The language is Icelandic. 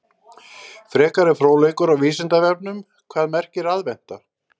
Frekari fróðleikur á Vísindavefnum: Hvað merkir aðventa?